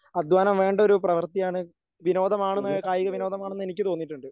അധ്വാനം വേണ്ട ഒരു പ്രവൃത്തിയാണ് വിനോദം ആണെന്ന് കായികവിനോദമാണ് എന്ന് എനിക്ക് തോന്നിയിട്ടുണ്ട്.